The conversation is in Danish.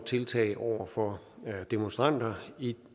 tiltag over for demonstranter ja